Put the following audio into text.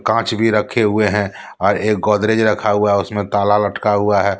कांच भी रखे हुए हैं और एक गोदरेज रखा हुआ है उसमें ताला लटका हुआ है।